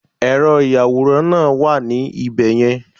Ẹ̀rọ ìyàwòrán náà wà ní ibẹ̀ yẹn